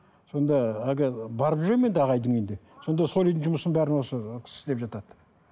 сонда әлгі барып жүремін енді ағайдың үйінде сонда сол үйдің жұмысын бәрін осы кісі істеп жатады